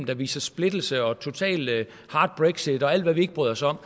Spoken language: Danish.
der viser splittelse totalt hard brexit og alt hvad vi ikke bryder os om